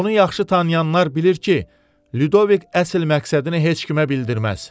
Onu yaxşı tanıyanlar bilir ki, Lyudovik əsl məqsədini heç kimə bildirməz.